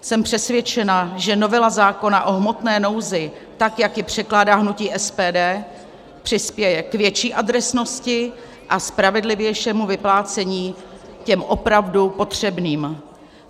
Jsem přesvědčena, že novela zákona o hmotné nouzi, tak jak je předkládá hnutí SPD, přispěje k větší adresnosti a spravedlivějšímu vyplácení těm opravdu potřebným.